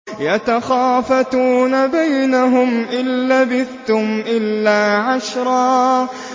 يَتَخَافَتُونَ بَيْنَهُمْ إِن لَّبِثْتُمْ إِلَّا عَشْرًا